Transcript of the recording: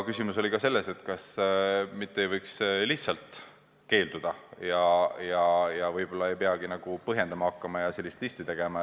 Küsimus oli ka selles, kas viisa andmisest ei võiks lihtsalt keelduda ja et võib-olla ei peakski põhjendama hakkama ja sellist listi tegema.